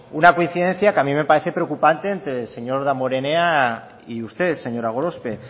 una coincidencia que a mí me parece preocupante entre el señor damborenea y usted señora gorospe